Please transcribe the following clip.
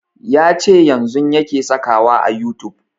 Ya ce yanzun yake saka wa a youtube